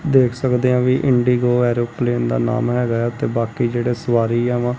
ਦੇਖ ਸਕਦੇ ਆ ਵੀ ਇੰਡੀਗੋ ਏਰੋਪਲੇਨ ਦਾ ਨਾਮ ਹੈਗਾ ਐ ਤੇ ਬਾਕੀ ਜਿਹੜੇ ਸਵਾਰੀ ਯਾਂ ਵਾਂ।